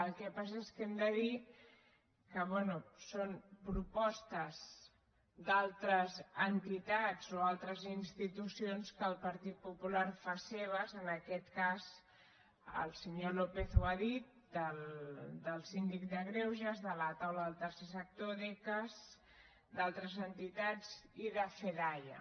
el que passa és que hem de dir que bé són propostes d’altres entitats o altres institucions que el partit popular fa seves en aquest cas el senyor lópez ho ha dit del síndic de greuges de la taula del tercer sector d’ecas d’altres entitats i de fedaia